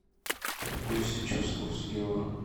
какой сейчас курс евро